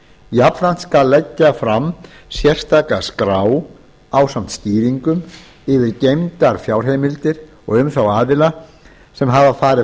jafnframt skal leggja fram sérstaka skrá ásamt skýringum yfir geymdar fjárheimildir og um þá aðila sem hafa farið